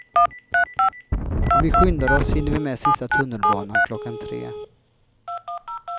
Om vi skyndar oss hinner vi med sista tunnelbanan klockan tre.